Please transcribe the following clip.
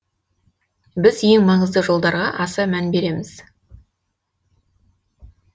біз ең маңызды жолдарға аса мән береміз